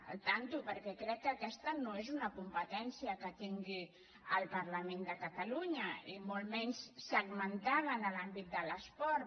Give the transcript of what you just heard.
atenció perquè crec que aquesta no és una competència que tingui el parlament de catalunya i molt menys segmentada en l’àmbit de l’esport